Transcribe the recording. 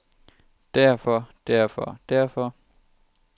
derfor derfor derfor